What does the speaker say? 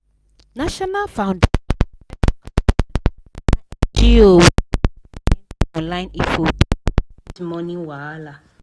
national foundation for credit counseling na ngo wey get plenty online info to help people manage money wahala